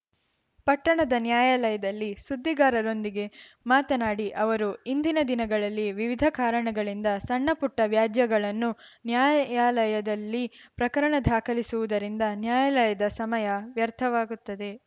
ಪಟ್ಟಣದ ನ್ಯಾಯಾಲಯದಲ್ಲಿ ಸುದ್ದಿಗಾರರೊಂದಿಗೆ ಮಾತನಾಡಿ ಅವರು ಇಂದಿನ ದಿನಗಳಲ್ಲಿ ವಿವಿಧ ಕಾರಣಗಳಿಂದ ಸಣ್ಣಪುಟ್ಟವ್ಯಾಜ್ಯಗಳನ್ನು ನ್ಯಾಯಾಲಯದಲ್ಲಿ ಪ್ರಕರಣ ದಾಖಲಿಸುವುದರಿಂದ ನ್ಯಾಯಾಲಯದ ಸಮಯ ವ್ಯರ್ಥವಾಗುತ್ತದೆ